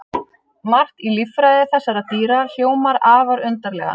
Margt í líffræði þessara dýra hljómar afar undarlega.